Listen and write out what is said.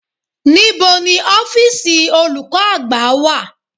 Níbo ni ọ́fíìsì olùkọ́ àgbà wà?